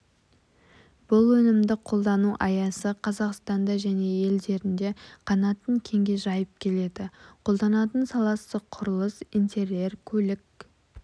бұл өнімді қолдану аясы қазақстанда және елдерінде қанатын кеңге жайып келеді қолданатын саласы құрылыс интерьер көлік